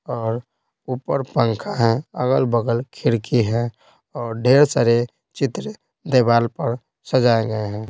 और ऊपर पंखा है अगल-बगल खिड़की है और ढेर सारे चित्र दिवार पर सजाऐ गए हैं।